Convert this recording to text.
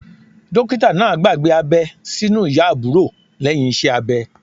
Dókítà náà gbàgbé abẹ́ sí inú ìyá àbúrò lẹ́yìn iṣẹ́ abẹ.